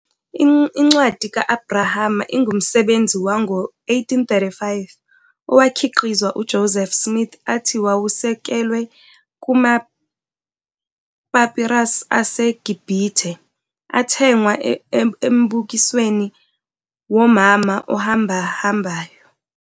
Incwadi ka-Abrahama ingumsebenzi wango-1835 owakhiqizwa uJoseph Smith athi wawusekelwe kuma- papyrus aseGibhithe athengwa embukisweni womama ohambahambayo.